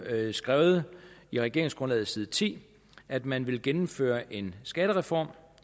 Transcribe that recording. skrevet i regeringsgrundlaget på side ti at man vil gennemføre en skattereform